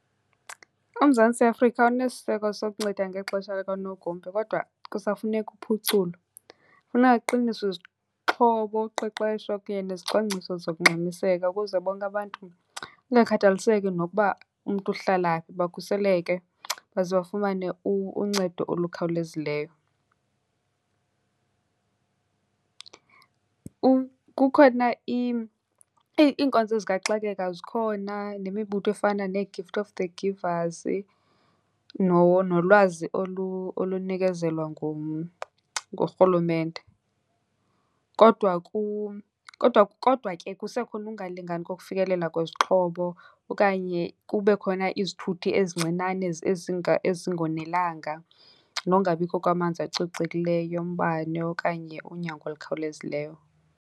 UMzantsi Afrika unesiseko sokunceda ngexesha likanogumbe kodwa kusafuneka uphuculo. Kufuneka kuqiniswe izixhobo, uqeqesho kunye nezicwangciso zokungxamiseka ukuze bonke abantu, kungakhathaliseki nokuba umntu uhlala phi, bakhuseleke baze bafumane uncedo olukhawulezileyo. Kukhona , iinkonzo zikaxakeka zikhona nemibutho efana neeGift of the Givers, nolwazi olunikezelwa nguRhulumente. Kodwa , kodwa , kodwa ke kusekhona ungalingani kokufikelela kwezixhobo okanye kube khona izithuthi ezincinane ezingonelanga nokungabikho kwamanzi acocekileyo, umbane okanye unyango olukhawulezileyo.